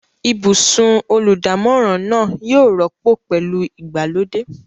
Ibùsùn olùdámọ̀ràn náà yóò rọ́pò pẹ̀lú ìgbàlódé.